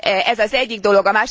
Ez az egyik dolog.